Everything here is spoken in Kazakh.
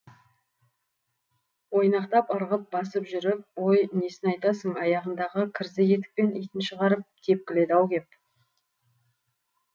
ойнақтап ырғып басып жүріп ой несін айтасың аяғындағы кірзі етікпен итін шығарып тепкіледі ау кеп